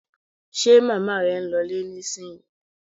Ṣe màmá rẹ ń lọ ilé nísìnyí?